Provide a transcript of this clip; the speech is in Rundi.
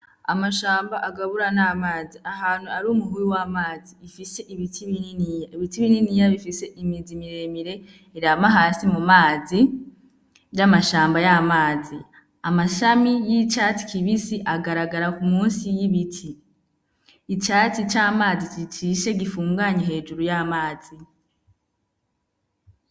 Amashamba agabura n'amazi, ahantu ari umuhuru w'amazi ifise ibiti bininiya, ibiti bininiya bifise imizi miremire irana hasi mu mazi vy'amashamba y'amazi, amashami y'icatsi kibisi agaragara musi y'ibiti, icatsi c'amazi cicishe gifunganye hejuru y'amazi.